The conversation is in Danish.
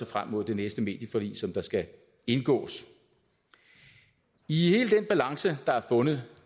frem mod det næste medieforlig som der skal indgås i hele den balance der er fundet